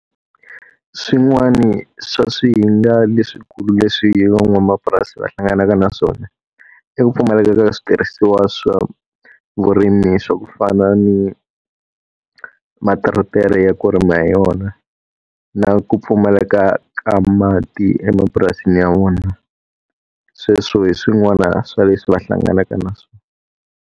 Swin'wana swa swihinga leswikulu leswi van'wamapurasi va hlanganaka na swona, i ku pfumaleka ka switirhisiwa swa vurimi swa ku fana ni materetere ya ku rima hi yona na ku pfumaleka ka mati emapurasini ya vona. Sweswo hi swin'wana swa leswi va hlanganaka na swona.